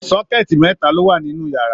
sọkẹ̀tí mẹta lo wà nínú yàrá.